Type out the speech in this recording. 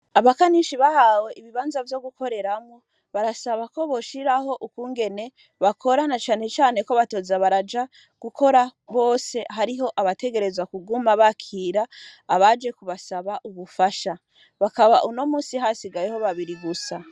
Abakanishi, bahawe ibibanza, vyo gukoreramwo, barasaba ko, boshiraho ukungene bakora, na cane cane, ko batoza baraja gukora, bose; hariho abategerezwa, kuguma bakira, abaje kubasaba ubufasha; bakaba, uno munsi, hasigayeho babiri gusa.